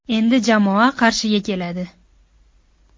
Endi jamoa Qarshiga keladi.